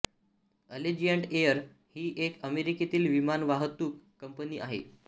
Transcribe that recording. Allegiant Air ही एक अमेरिकेतील विमानवाहतूक कंपनी आहे